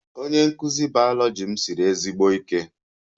Onye nkụzi biology m siri ezigbo ike